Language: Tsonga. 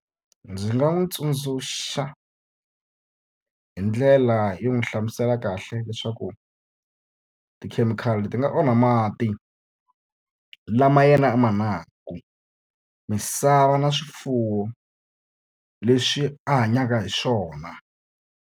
Ndzi nga n'wi tsundzuxa hi ndlela yo n'wi hlamusela kahle leswaku tikhemikhali ti nga onha mati lama yena a ma nwaka, misava na swifuwo leswi a hanyaka hi swona.